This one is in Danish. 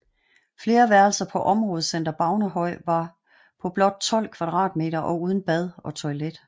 Flere værelser på områdecenter Baunehøj var på blot 12 kvadratmeter og uden bad og toilet